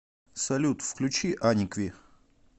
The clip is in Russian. салют включи аникви